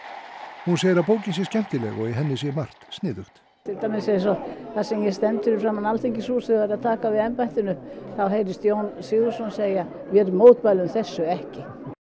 hún segir að bókin sé skemmtileg og í henni sé margt sniðugt til dæmis eins og þegar ég stend fyrir framan Alþingishúsið og er að taka við embættinu þá heyrist Jón Sigurðsson segja vér mótmælum þessu ekki